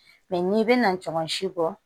Mɛ n'i bɛna jɔn si bɔ